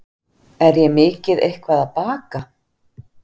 Er ég mikið eitthvað að baka?